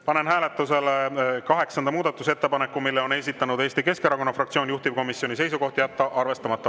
Panen hääletusele kaheksanda muudatusettepaneku, mille on esitanud Eesti Keskerakonna fraktsioon, juhtivkomisjoni seisukoht: jätta arvestamata.